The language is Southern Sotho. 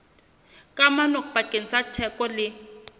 kamano pakeng tsa theko le